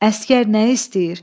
Əsgər nə istəyir?